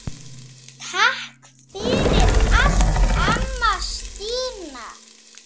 Takk fyrir allt, amma Stína.